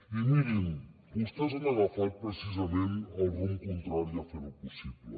i mirin vostès han agafat precisament el rumb contrari a fer ho possible